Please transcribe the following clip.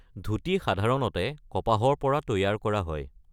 ধূতি সাধাৰণতে কপাহৰ পৰা তৈয়াৰ কৰা হয়।